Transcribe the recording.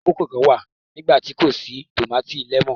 àkókò kán wá nigbati kò sí tomati lẹẹmọ.